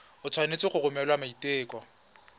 o tshwanetse go romela maiteko